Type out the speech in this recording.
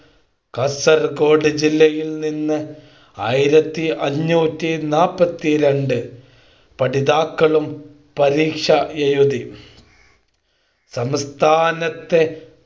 കാസർക്കോട് ജില്ലയിൽ നിന്ന് ആയിരത്തി അഞ്ഞൂറ്റി നാൽപത്തി രണ്ട് പഠിതാക്കളും പരീക്ഷ എഴുതി സംസ്ഥാനത്തെ